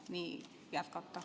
Nii jätkata.